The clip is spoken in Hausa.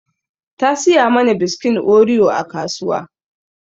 Ta saya mana biskon oreo a kasuwa